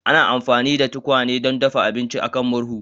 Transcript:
Ana amfani da tukwane don dafa abinci a kan murhu